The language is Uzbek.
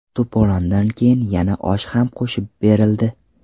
To‘polondan keyin yana osh ham qo‘shib berildi.